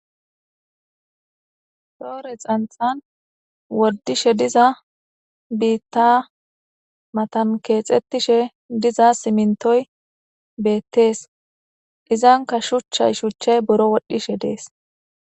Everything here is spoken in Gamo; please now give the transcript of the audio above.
Shoore xanxan woddishe diza biitta matan keexettishe diza simintoy beettees izanka shuchchay shuchchay boro wodhishe dees